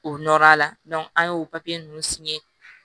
O nɔrɔ a la an y'o papiye ninnu